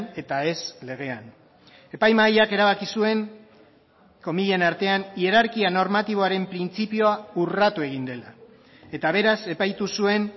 eta ez legean epaimahaiak erabaki zuen komilen artean hierarkia normatiboaren printzipioa urratu egin dela eta beraz epaitu zuen